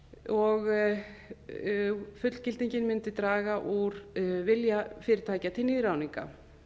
og fullgilding mundi draga úr vilja fyrirtækja til nýráðninga